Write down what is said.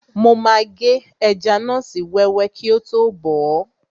Mo máa gé ẹja náà sí wẹ́wẹ́ kíi tó bọ̀ọ́